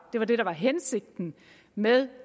hensigten med